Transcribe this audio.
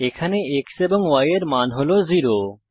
এখানে x এবং y এর মান হল 0